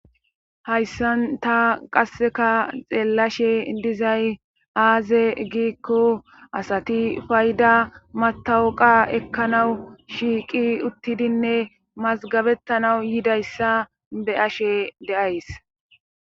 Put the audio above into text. hayssan ta qasseka xeellashe dizay aaze giikko asati fayda matawuqa ekkanawu shiiqi uttidinne mazgabettanau yidayssa be ashe deays